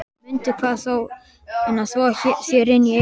Mundu að þvo þér inni í eyrunum.